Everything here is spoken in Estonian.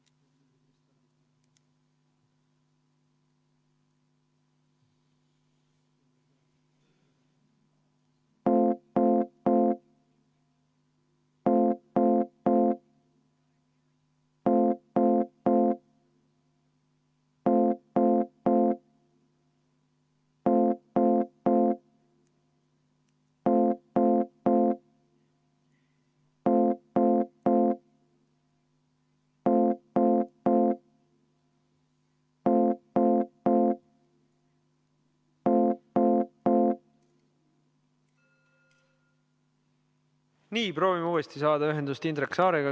Nii, proovime uuesti saada ühendust Indrek Saarega, kellel oli protseduuriline küsimus.